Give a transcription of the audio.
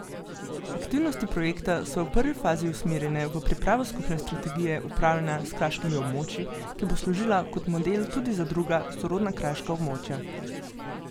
Aktivnosti projekta so v prvi fazi usmerjene v pripravo skupne strategije upravljanja s kraškimi območji, ki bo služila kot model tudi za druga, sorodna kraška območja.